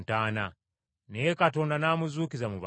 Naye Katonda n’amuzuukiza mu bafu.